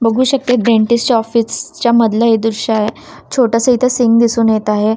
बघू शकते डेंटिस्ट च्या ऑफिसच्या मधलं हे दृश्य आहे छोटसं इथं सिंग दिसून येत आहे.